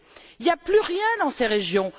Il n'y a plus rien dans ces régions.